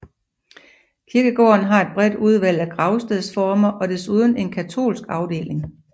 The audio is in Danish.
Kirkegården har et bredt udvalg af gravstedsformer og desuden en katolsk afdeling